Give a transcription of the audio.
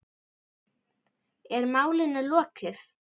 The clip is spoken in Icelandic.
En er málinu lokið?